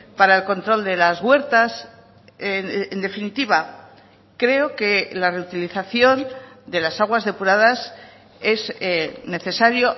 para el control de las huertas en definitiva creo que la reutilización de las aguas depuradas es necesario